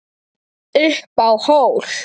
Upp á hól